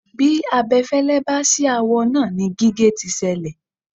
Bí abẹfẹ́lẹ́ bá ṣì awọ náà ni gígé tí ṣẹlẹ̀.